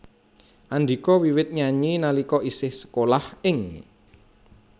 Andhika wiwit nyanyi nalika isih sekolah ing